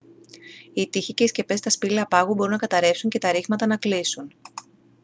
οι τοίχοι και οι σκεπές στα σπήλαια πάγου μπορούν να καταρρεύσουν και τα ρήγματα να κλείσουν